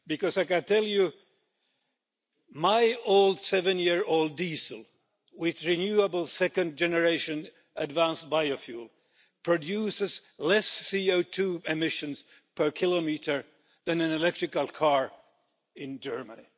I can tell you, my 7-year-old diesel, with renewable second generation advanced biofuel, produces less CO2 emissions per kilometre than an electrical car in Germany.